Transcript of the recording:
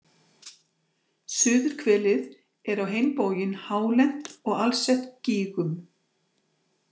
Suðurhvelið er á hinn bóginn hálent og alsett gígum.